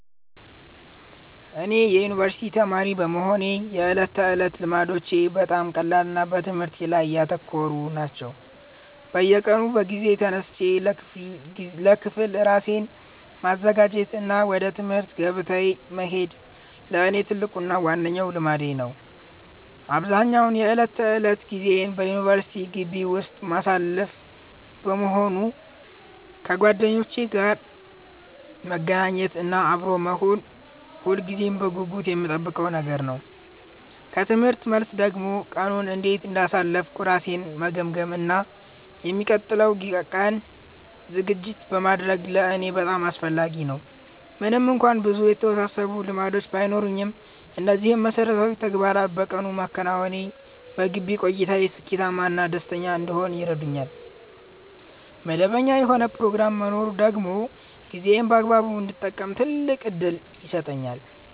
እኔ የዩኒቨርሲቲ ተማሪ በመሆኔ የዕለት ተዕለት ልማዶቼ በጣም ቀላልና በትምህርቴ ላይ ያተኮሩ ናቸው። በየቀኑ በጊዜ ተነስቼ ለክፍል ራሴን ማዘጋጀት እና ወደ ትምህርት ገበታዬ መሄድ ለእኔ ትልቁና ዋነኛው ልማዴ ነው። አብዛኛውን የዕለት ተዕለት ጊዜዬን በዩኒቨርሲቲ ግቢ ውስጥ የማሳልፍ በመሆኑ፣ ከጓደኞቼ ጋር መገናኘት እና አብሮ መሆን ሁልጊዜም በጉጉት የምጠብቀው ነገር ነው። ከትምህርት መልስ ደግሞ ቀኑን እንዴት እንዳሳለፍኩ ራሴን መገምገም እና ለሚቀጥለው ቀን ዝግጅት ማድረግ ለእኔ በጣም አስፈላጊ ነው። ምንም እንኳን ብዙ የተወሳሰቡ ልማዶች ባይኖሩኝም፣ እነዚህን መሠረታዊ ተግባራት በየቀኑ ማከናወኔ በግቢ ቆይታዬ ስኬታማ እና ደስተኛ እንድሆን ይረዳኛል። መደበኛ የሆነ ፕሮግራም መኖሩ ደግሞ ጊዜዬን በአግባቡ እንድጠቀም ትልቅ ዕድል ይሰጠኛል።